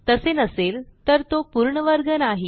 तसे नसेल तर तो पूर्ण वर्ग नाही